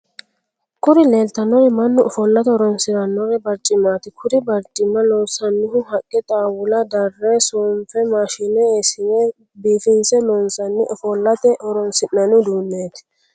kuri leelitannori mannu ofolate horoonsiranno barccimmati. kuri barccimma loonsannihu haqqe xaawula darre soonfe maashine eesine biifinse loonsanni ofolate horoonsi'nanni uduneti.